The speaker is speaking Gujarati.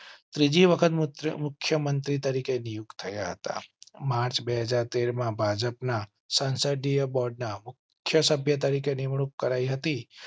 ત્રીજી વખત મુખ્ય મંત્રી તરીકે નિયુક્ત હતા. માર્ચ બે હાજર તેર માં ભાજપના સંસદીય બોર્ડના મુખ્ય સભ્ય તરીકે નિમણૂક કરાઈ હતી